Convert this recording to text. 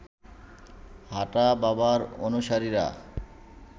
হাঁটা বাবার অনুসারীরা